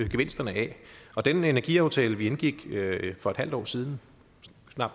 gevinsterne af og den energiaftale vi indgik for et halvt år siden